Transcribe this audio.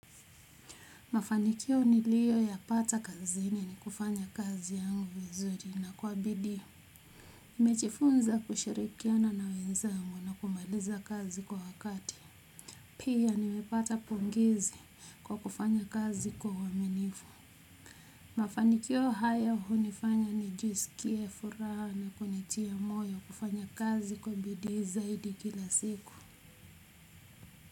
Mafanikio niliyoyapata kazini ni kufanya kazi yangu vizuri na kwa bidii. Nimejifunza kushirikiana na wenzangu na kumaliza kazi kwa wakati pia nimepata pongezi kwa kufanya kazi kwa uaminifu. Mafanikio haya hunifanya nijisikie furaha na kunitia moyo kufanya kazi kwa bidii zaidi kila siku.